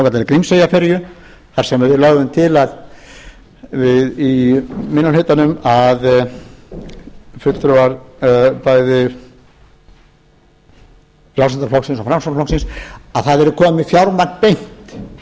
að svokallaðri grímseyjarferju þar sem við lögðum til í minni hlutanum fulltrúar bæði frjálslynda flokksins og framsóknarflokksins að það yrði komið með fjármagn beint til